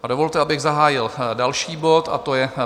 A dovolte, abych zahájil další bod, a to je